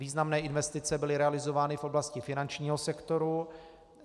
Významné investice byly realizovány v oblasti finančního sektoru.